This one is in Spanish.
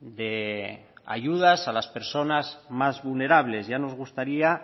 de ayudas a las personas más vulnerables ya nos gustaría